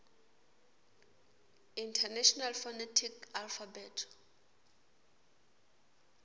international phonetic alphabet